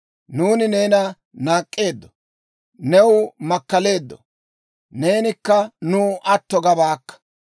«Nuuni neena naak'k'eeddo; new makkaleeddo; neenikka nuw atto gabaakka.